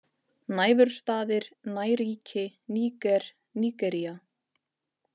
Næfurstaðir, Næríki, Níger, Nígería